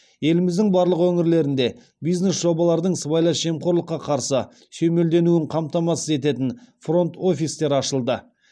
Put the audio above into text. еліміздің барлық өңірлерінде бизнес жобалардың сыбайлас жемқорлыққа қарсы сүйемелденуін қамтамасыз ететін фронт офистер ашылды